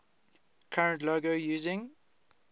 current logo using